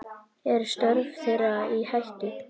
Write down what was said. Eru störf þeirra í hættu?